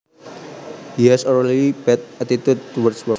He has a really bad attitude towards work